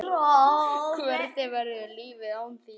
Hvernig verður lífið án þín?